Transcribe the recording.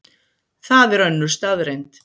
Það er önnur staðreynd.